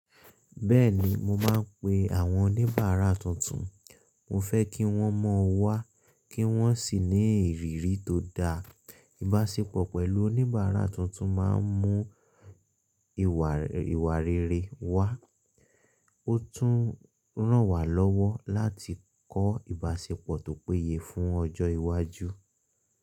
Bẹ́ẹ̀ni, mo máa ń pe àwọn oníbàárà tuntun. Mo fẹ́ kí wọ́n mọ̀ ọ́ wá kí wọ́n sì ní ìrírí tó dáa. Ìbáṣepọ̀ pẹ̀lú oníbàárà tuntun máa ń mú ìwà rere wá. Ó tún ràn wá lọ́wọ́ láti kọ́ ìbáṣepọ̀ tó péye fún ọjọ́ iwájú.